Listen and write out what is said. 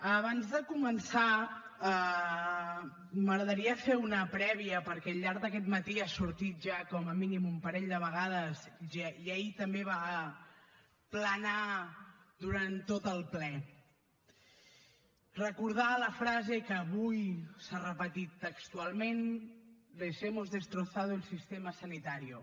abans de començar m’agradaria fer una prèvia perquè al llarg d’aquest matí ha sortit ja com a mínim un parell de vegades i ahir també va planar durant tot el ple recordar la frase que avui s’ha repetit textualment les hemos destrozado el sistema sanitario